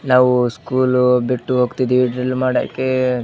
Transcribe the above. ನಾವು ಸ್ಕೂಲ್ ಬಿಟ್ಟು ಹೋಗತೀವಿ ಡ್ರಿಲ್ ಮಾಡೋಕೆ --